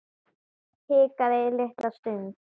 Hikaði litla stund.